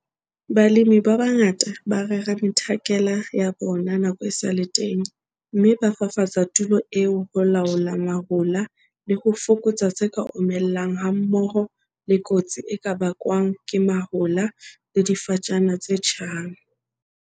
Balemi ba bangata ba rera methakala ya bona nako e sa le teng, mme ba fafatsa tulo eo ho laola mahola le ho fokotsa tse ka omellang hammoho le kotsi e ka bakwang ke mahola le difatjana tse tjhang.